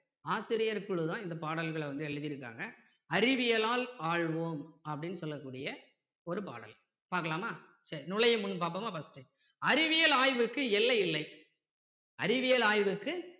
ஆசிரியர் குழு தான் இந்த பாடல்களை வந்து எழுதி இருக்காங்க அறிவியலால் ஆள்வோம் அப்படின்னு சொல்லக்கூடிய ஒரு பாடல் பார்க்கலாமா சரி நூழையும் முன் பார்ப்போமா first டு அறிவியல் ஆய்விற்கு எல்லை இல்லை அறிவியல் ஆய்விற்கு